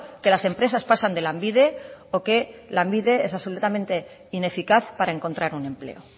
que las empresas pasan de lanbide o que lanbide es absolutamente ineficaz para encontrar un empleo